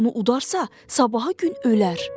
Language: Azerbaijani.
Kim onu udarsa, sabaha gün ölər.